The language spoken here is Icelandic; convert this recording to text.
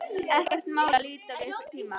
Ekkert mál að líta við einhvern tíma.